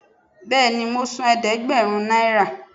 Béèni mo sán ẹdẹgbẹrún náírà